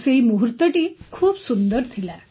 ସେହି ମୂହୁର୍ତ୍ତଟି ଖୁବ୍ ସୁନ୍ଦର ଥିଲା